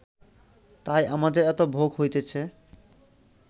তাই আমাদের এত ভোগ হইতেছে